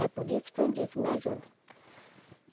É por isso que eu disse, me ajudem.